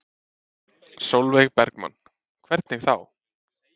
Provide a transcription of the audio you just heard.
Sólveig Bergmann: Hvernig þá?